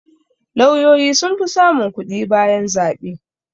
Lauyoyi sun fi samun kuɗi bayan zaɓe